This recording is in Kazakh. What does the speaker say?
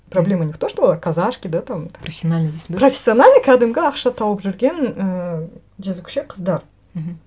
проблема не в том что олар казашки да там профессиональный дейсің бе профессиональный кәдімгі ақша тауып жүрген ііі жезөкше қыздар мхм